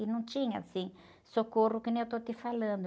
E não tinha, assim, socorro que nem eu estou te falando.